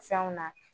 Fɛnw na